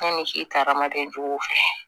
Yanni si ta ka kɛ jogo fɛ